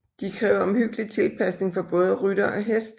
De kræver omhyggelig tilpasning for både rytter og hest